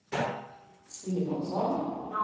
Simonsson